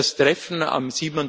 Das Treffen am